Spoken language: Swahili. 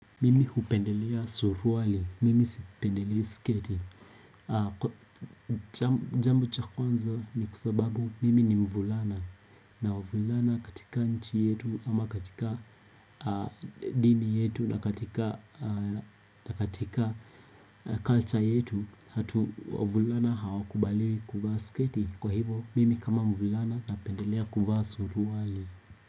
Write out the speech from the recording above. Mimi hupendelea suruali, mimi sipendelei sketi Jambo cha kwanza ni kwa sababu mimi ni mvulana na wavulana katika nchi yetu ama katika dini yetu na katika na katika culture yetu hatu wavulana hawakubaliwi kuvaa sketi Kwa hivyo mimi kama mvulana napendelea kuvaa suruali.